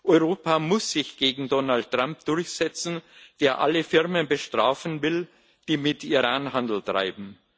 Europa muss sich gegen Donald Trump durchsetzen, der alle Firmen bestrafen will, die mit Iran Handel treiben.